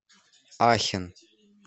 ахен